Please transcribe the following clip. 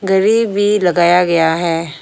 घड़ी भी लगाया गया है।